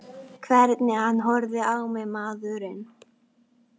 Hvernig hann horfði á mig, maðurinn!